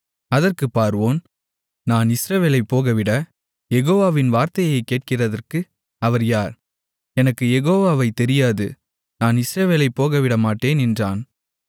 அதற்குப் பார்வோன் நான் இஸ்ரவேலைப் போகவிடக் யெகோவாவின் வார்த்தையைக் கேட்கிறதற்கு அவர் யார் எனக்கு யெகோவாவை தெரியாது நான் இஸ்ரவேலைப் போகவிடமாட்டேன் என்றான்